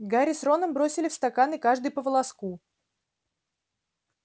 гарри с роном бросили в стаканы каждый по волоску